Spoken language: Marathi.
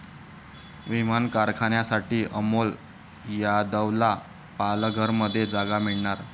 विमान कारखान्यासाठी अमोल यादवला पालघरमध्ये जागा मिळणार